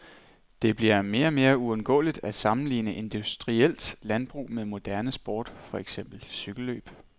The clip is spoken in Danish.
Det bliver mere og mere uundgåeligt at sammenligne industrielt landbrug med moderne sport, for eksempel cykellløb.